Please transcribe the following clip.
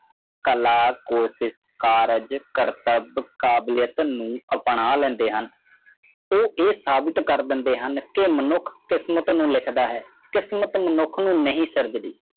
ਕਾਲਾ ਕੋਠ ਕਾਰਾਜ ਕਰਤਵ ਕਾਬਲਿਦ ਨੂੰ ਅਪਣਾ ਲੈਂਦੇ ਹਨ ਉਹ ਇਹ ਸਾਬਿਤ ਕਰ ਦੇਦਾ ਹੈ ਕਿ ਮਨੁੱਖ ਕਿਸਮਤ ਨੂੰ ਲਿਖਦਾ ਹੈ ਕਿਸਮਤ ਮਨੁੱਖ ਨਜੀ ਸਿਰਝਦੀ